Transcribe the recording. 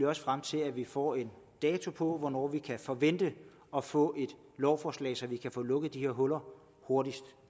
også frem til at vi får en dato for hvornår vi kan forvente at få et lovforslag så vi kan få lukket de her huller hurtigst